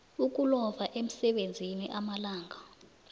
ukulova emsebenzini amalanga